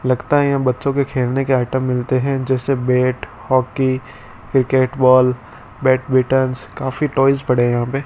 लगता है यहां बच्चों के खेलने के आइटम मिलते हैं जैसे bat hockey cricket ball badminton काफी टॉयज पड़े हैं यहां पे।